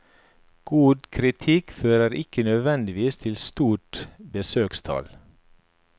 God kritikk fører ikke nødvendigvis til stort besøkstall.